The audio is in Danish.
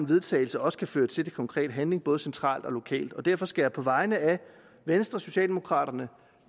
vedtagelse også kan føre til konkret handling både centralt og lokalt derfor skal jeg på vegne af venstre socialdemokraterne